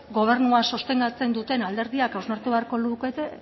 gobernua sostengatzen duten alderdiak hausnartu beharko lukete